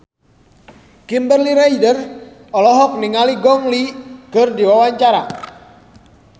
Kimberly Ryder olohok ningali Gong Li keur diwawancara